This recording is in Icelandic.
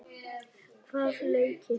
Hvaða leiki?